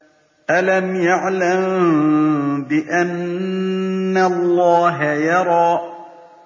أَلَمْ يَعْلَم بِأَنَّ اللَّهَ يَرَىٰ